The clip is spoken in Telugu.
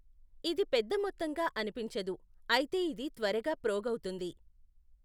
ఇది పెద్దమొత్తంగా అనిపించదు, అయితే ఇది త్వరగా ప్రోగవుతుంది.